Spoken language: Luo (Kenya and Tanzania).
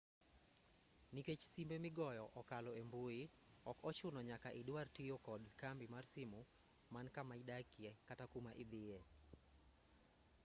nikech simbe migoyo okalo embui ok ochuno nyaka idwar tiyo kod kambi mar simu man kamaidakie kata kuma idhiye